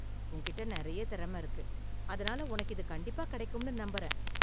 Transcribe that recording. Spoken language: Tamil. உன்கிட்ட நிறைய திறமை இருக்கு, அதனால உனக்கு இது கண்டிப்பா கிடைக்கும்னு நம்பறேன்.